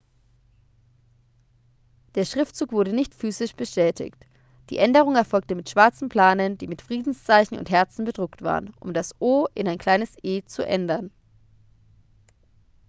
der schriftzug wurde nicht physisch beschädigt die änderung erfolgte mit schwarzen planen die mit friedenszeichen und herzen bedruckt waren um das o in ein kleines e zu ändern